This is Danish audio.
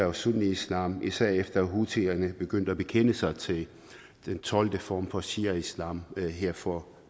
og sunniislam især efter at houthierne begyndte at bekende sig til den tolvte form for shiaislam her for